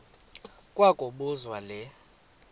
kwa kobuzwa le